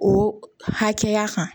O hakɛya kan